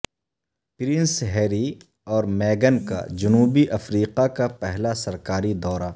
prince Harry اور میگن کا جنوبی افریقہ کا پہلا سرکاری دورہ